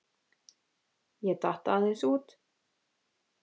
Ég datt aðeins út.